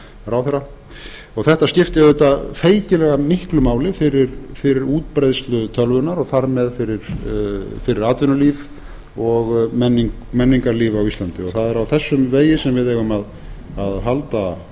ráðherra þetta skipti auðvitað feikilega miklu máli fyrir útbreiðslu tölvunnar og þar með fyrir atvinnulíf og menningarlíf á íslandi það er á þessum vegi sem við eigum að halda áfram